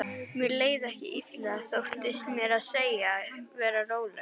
Mér leið ekki illa, þóttist meira að segja vera rólegur.